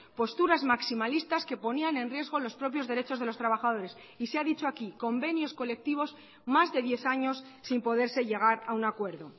posturas maximalistas que ponían en riesgo los propios derechos de los trabajadores y se ha dicho aquí convenios colectivos más de diez años sin poderse llegar a un acuerdo